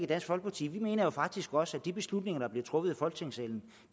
dansk folkeparti vi mener faktisk også at de beslutninger der bliver truffet i folketingssalen